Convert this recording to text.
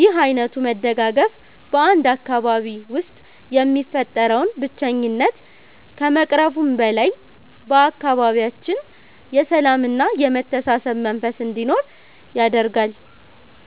ይህ ዓይነቱ መደጋገፍ በ 1 አካባቢ ውስጥ የሚፈጠረውን ብቸኝነት ከመቅረፉም በላይ፤ በአካባቢያችን የሰላምና የመተሳሰብ መንፈስ እንዲኖር ያደርጋል።